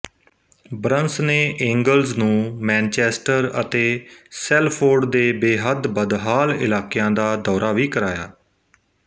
Burns ਨੇ Engels ਨੂੰ Manchester ਅਤੇ ਸੈਲਫੋਰਡ ਦੇ ਬੇਹੱਦ ਬਦਹਾਲ ਇਲਾਕਿਆਂ ਦਾ ਦੌਰਾ ਵੀ ਕਰਾਇਆ